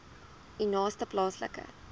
u naaste plaaslike